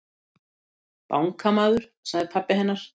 Bankamaður, sagði pabbi hennar.